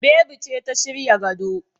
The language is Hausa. Bebi ce ta shirya gado.